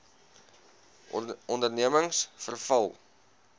ondernemingsveral